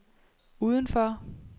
udenfor